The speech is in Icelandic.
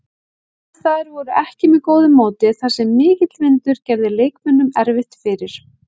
Aðstæður voru ekki með góðu móti þar sem mikill vindur gerði leikmönnum erfitt fyrir.